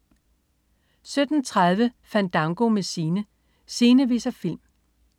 17.30 Fandango med Sine. Sine viser film